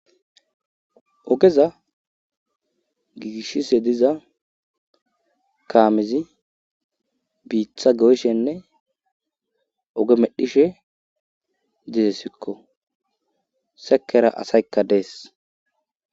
ogeza giigishise diza kaamizi biitha goyshenne oge medhishe diesikko sekera asaykka dees